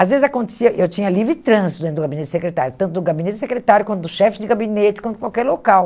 Às vezes acontecia, eu tinha livre trânsito dentro do gabinete secretário, tanto do gabinete secretário quanto do chefe de gabinete, quanto qualquer local.